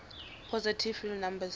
positive real numbers